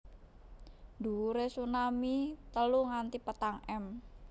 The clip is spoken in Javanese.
Dhuwure tsunami telu nganti patang m